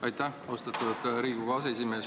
Aitäh, austatud Riigikogu aseesimees!